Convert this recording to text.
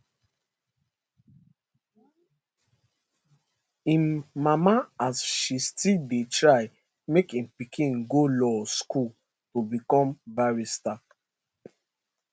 im mama as she still dey try make im pikin go law school to become barrister